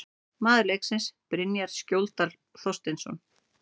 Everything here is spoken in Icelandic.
Maður leiksins: Brynjar Skjóldal Þorsteinsson